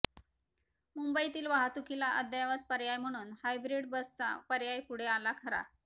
मुंबईतील वाहतुकीला अद्ययावत पर्याय म्हणून हायब्रिड बसचा पर्याय पुढे आला खरा